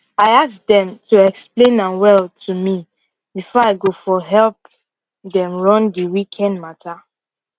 i ask dem to explain am well to me before i go fot help dem run di weekend matter